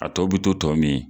A tɔ bi to tɔ min